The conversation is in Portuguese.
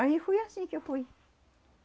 Aí fui assim que eu fui.